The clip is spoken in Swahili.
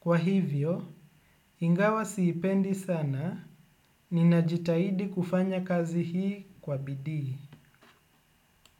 Kwa hivyo, ingawa siipendi sana ninajitaidi kufanya kazi hii kwa bidi.